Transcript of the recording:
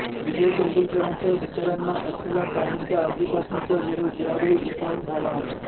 विजय तेंडुलकरांच्या विचारांना असलेला काहींचा आधीपासूनचा विरोध यावेळी उफाळून आला